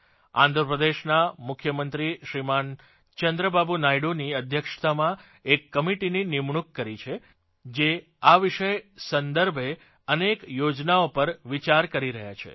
આંધ્રપ્રદેશનાં મુખ્યમંત્રી શ્રીમાન ચંદ્રબાબૂ નાયડૂની અધ્યક્ષતામાં એક કમિટીની નિમણૂક કરી છે જે આ વિષય સંદર્ભે અનેક યોજનાઓ પર વિચાર કરી રહી છે